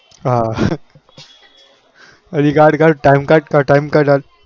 હા હજી ગાઢ ગાઢ time